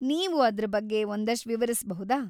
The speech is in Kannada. ನೀವು ಅದ್ರ ಬಗ್ಗೆ ಒಂದಷ್ಟ್‌ ವಿವರಿಸ್ಬಹುದಾ?